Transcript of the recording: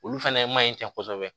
Olu fɛnɛ ma ɲi cɛ kosɛbɛ